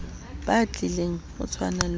batlileng o tshwana le wa